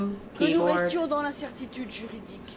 que nous restions dans l'incertitude juridique.